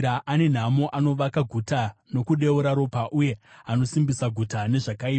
“Ane nhamo anovaka guta nokudeura ropa uye anosimbisa guta nezvakaipa.